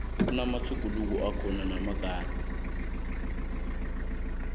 kunamatjhuguluko akhona malungana